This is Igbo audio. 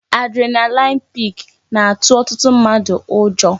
Adrenaline peak na-atụ ọtụtụ mmadụ ụjọ